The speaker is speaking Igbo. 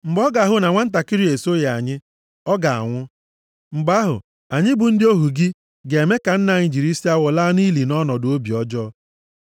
mgbe ọ ga-ahụ na nwantakịrị a esoghị anyị, ọ ga-anwụ. Mgbe ahụ, anyị bụ ndị ohu gị, ga-eme ka nna anyị jiri isi awọ laa nʼili nʼọnọdụ obi ọjọọ.